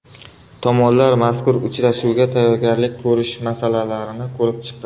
Tomonlar mazkur uchrashuvga tayyorgarlik ko‘rish masalalarini ko‘rib chiqdi.